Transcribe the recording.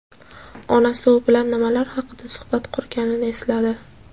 Onasi u bilan nimalar haqida suhbat qurganini esladi.